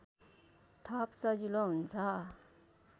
थप सजिलो हुन्छ